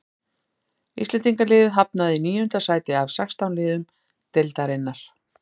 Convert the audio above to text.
Íslendingaliðið hafnaði í níunda sæti af sextán liðum deildarinnar.